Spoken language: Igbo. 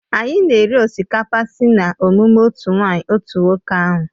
Anyị na-eri osikapa sị na emume otu nwanyị otu nwoke ahụ.